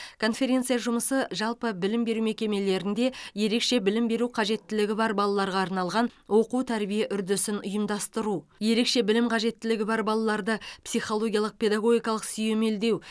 конференция жұмысы жалпы білім беру мекемелерінде ерекше білім беру қажеттілігі бар балаларға арналған оқу тәрбие үрдісін ұйымдастыру ерекше білім қажеттілігі бар балаларды психологиялық педагогикалық сүйемелдеу